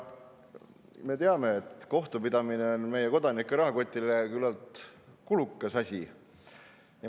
Me teame, et kohtupidamine on meie kodanike rahakotile küllalt kulukas asi.